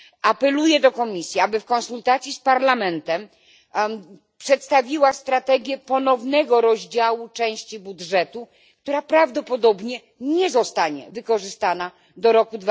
Apeluję do Komisji, aby w konsultacji z Parlamentem przedstawiła strategię ponownego rozdziału części budżetu, która prawdopodobnie nie zostanie wykorzystana do roku